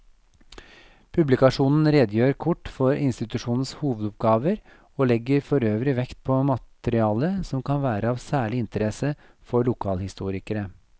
Publikasjonen redegjør kort for institusjonenes hovedoppgaver og legger forøvrig vekt på materiale som kan være av særlig interesse for lokalhistorikere.